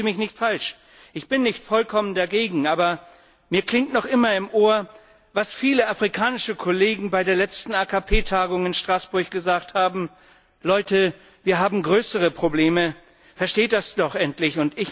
Verstehen Sie mich nicht falsch, ich bin nicht vollkommen dagegen, aber mir klingt noch immer im Ohr, was viele afrikanische Kollegen bei der letzten AKP Tagung in Straßburg gesagt haben Leute, wir haben größere Probleme, versteht das doch endlich!